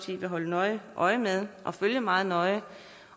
vil holde nøje øje med og følge meget nøje